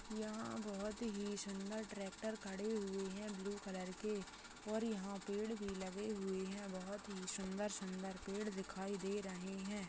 यहां बहुत ही सुंदर ट्रैक्टर खड़े हुए हैं ब्लू कलर के और यहां पेड़ भी लगे हुए हैं बहुत ही सुंदर-सुंदर पेड़ दिखाई दे रहे हैं।